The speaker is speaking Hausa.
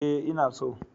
Ee, ina so